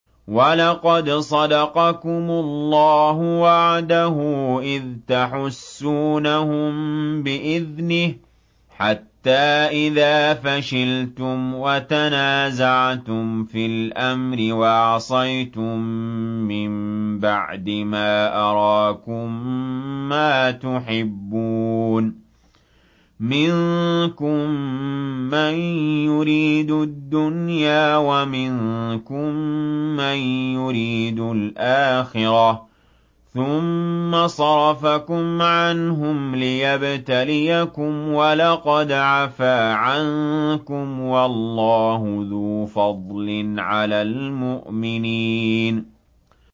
وَلَقَدْ صَدَقَكُمُ اللَّهُ وَعْدَهُ إِذْ تَحُسُّونَهُم بِإِذْنِهِ ۖ حَتَّىٰ إِذَا فَشِلْتُمْ وَتَنَازَعْتُمْ فِي الْأَمْرِ وَعَصَيْتُم مِّن بَعْدِ مَا أَرَاكُم مَّا تُحِبُّونَ ۚ مِنكُم مَّن يُرِيدُ الدُّنْيَا وَمِنكُم مَّن يُرِيدُ الْآخِرَةَ ۚ ثُمَّ صَرَفَكُمْ عَنْهُمْ لِيَبْتَلِيَكُمْ ۖ وَلَقَدْ عَفَا عَنكُمْ ۗ وَاللَّهُ ذُو فَضْلٍ عَلَى الْمُؤْمِنِينَ